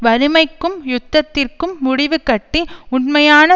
வறுமைக்கும் யுத்தத்திற்கும் முடிவுகட்டி உண்மையான